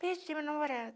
Perdi meu namorado.